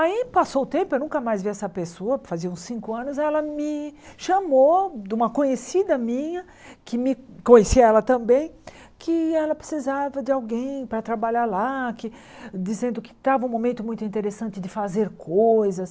Aí passou o tempo, eu nunca mais vi essa pessoa, fazia uns cinco anos, aí ela me chamou de uma conhecida minha, que me conhecia ela também, que ela precisava de alguém para trabalhar lá, que dizendo que estava um momento muito interessante de fazer coisas.